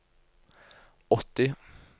åtti